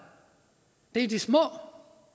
det er de små